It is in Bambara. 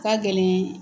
Ka gɛlɛn